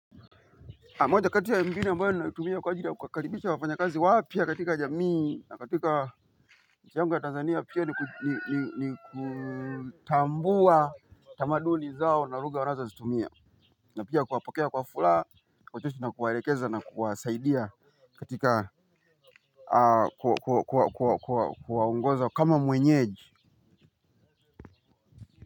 Moja kati ya mbinu ambayo na tumia kwa ajili ya kukaribisha wafanya kazi wapya katika jamii na katika nchiyangu ya Tanzania pia ni ni ni ni kutambua tamaduni zao na lugha wana zo zitumia. Na pia kuwapokea kwa furaha kwaucheshi na kuwalekeza na kuwasaidia. Katika kuwa ongoza kama mwenyeji.